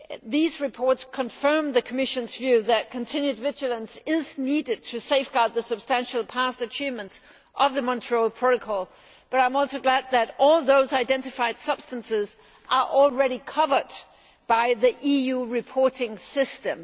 These reports confirm the Commission's view that continued vigilance is needed to safeguard the substantial past achievements of the Montreal Protocol, but I am also glad that all those substances identified are already covered by the EU reporting system.